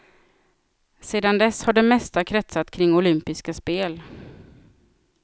Sedan dess har det mesta kretsat kring olympiska spel.